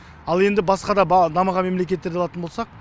ал енді басқа да дамыған мемлекеттерді алатын болсақ